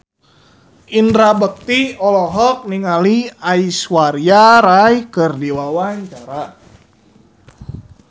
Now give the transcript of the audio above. Indra Bekti olohok ningali Aishwarya Rai keur diwawancara